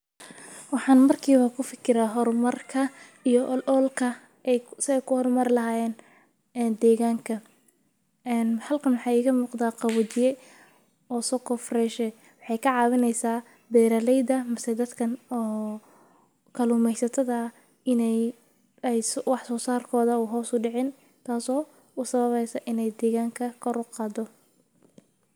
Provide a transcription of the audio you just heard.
waxaan markiiba ku fakira horumarka iyo ol-ool ka ah ay ku soo ku horumar lahaayen deegaanka. En Halqan waxay ka muuqdaa qawajiye oo soko fresh. Waxay ka caawineysaa beerarleyda masee dadkan oo kalumaysatada inay ay su wax soosaarkooda u hooso dhicin taaso u sababaysa inay deegaanka korr oqado.